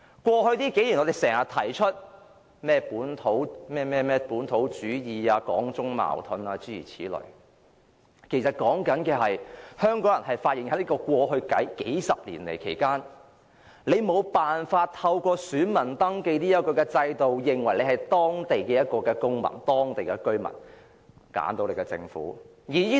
過去幾年，我們經常提出本土主義、港中矛盾等，其實所說的是香港人發現在過去數十年，無法透過選民登記這個制度來證明本身是當地公民、居民，以揀選自己的政府。